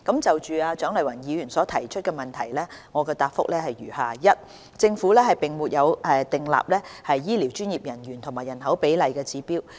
就蔣麗芸議員所提出的質詢，我現答覆如下：一政府並沒有訂立醫療專業人員與人口比例的指標。